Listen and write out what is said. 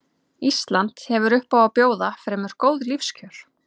Ísland hefur upp á að bjóða fremur góð lífskjör.